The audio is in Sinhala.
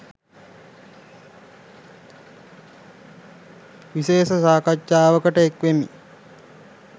විශේෂ සාකච්ඡාවකට එක් වෙමි